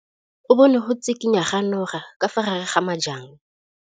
O bone go tshikinya ga noga ka fa gare ga majang.